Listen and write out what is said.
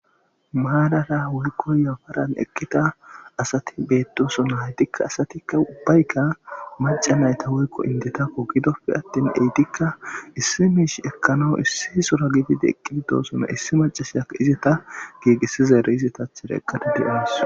Maarra woyko yafaran eqida asati betosona, haytikka asatika macata woyko indetako vidoppe atin etika issi mish ekanawu issi sora gidid eqidi dosona, issi macasiyaka izeta giigisizaraa izeta lanqen eqada de'awusi